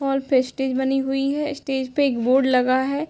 और फिर स्टेज बनी हुई है स्टेज पे एक बोर्ड लगा है।